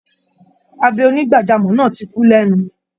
Abẹ onígbàjámọ̀ náà ti kú lẹ́nu